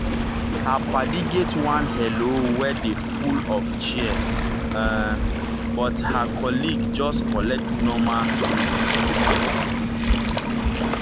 her paddy get one hello wey dey full of cheer of cheer um but her colleague just collect normal greeting.